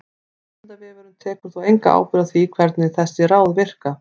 Vísindavefurinn tekur þó enga ábyrgð á því hvernig þessi ráð virka.